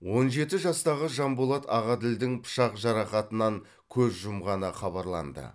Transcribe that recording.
он жеті жастағы жанболат ағаділдің пышақ жарақатынан көз жұмғаны хабарланды